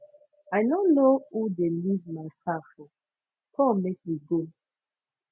i no know who dey leave my car for come make we go